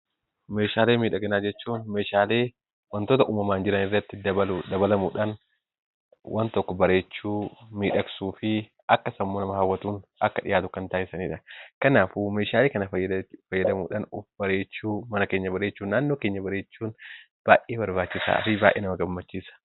Meeshaalee miidhaginaa jechuun meeshaalee wantoota uumamaan jiran irratti dabalamuudhaan, waan tokko bareechuu, miidhagsuu fi akkasumas nama hawwatuun akka dhiyaatu kan taasisanidha. Kanaafuu meeshaalee kana fayyadamuudhaan of bareechuu, mana keenya bareechuu, naannoo keenya bareechuun baay'ee barbaachisaa fi baay'ee nama gammachiisa.